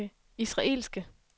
israelske